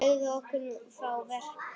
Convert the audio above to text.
Segðu okkur nú frá verk